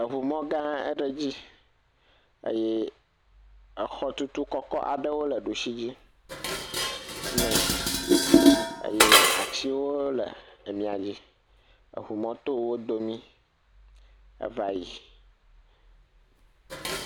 eʋumɔ gã aɖe dzi eye exɔ tutu kɔkɔ aɖewo le ɖusi dzi nɛ eye atsiwo le miadzi eye ʋumɔ tó wodome eva yi